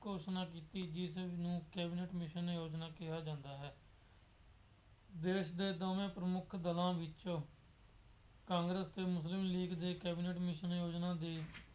ਘੋਸ਼ਣਾ ਕੀਤੀ ਜਿਸਨੂੰ ਕੈਬਨਿਟ ਕਮਿਸ਼ਨ ਯੋਜਨਾ ਕਿਹਾ ਜਾਂਦਾ ਹੈ। ਦੇਸ਼ ਦੇ ਦੋਵੇ ਪ੍ਰਮੁੱਖ ਦਲਾਂ ਵਿੱਚ ਕਾਂਗਰਸ ਅਤੇ ਮੁਸਲਿਮ ਲੀਗ ਦੇ ਕੈਬਨਿਟ ਕਮੀਸ਼ਨ ਯੋਜਨਾ ਦੇ